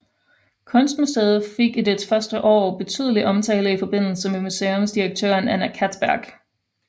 Kunstmuseet fik i dets første år betydelig omtale i forbindelse med museumsdirektøren Anna Castberg